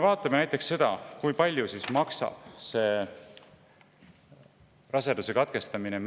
Vaatame näiteks seda, kui palju maksab medikamentoosne raseduse katkestamine.